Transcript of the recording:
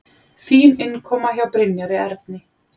Fín innkoma hjá Brynjari Erni.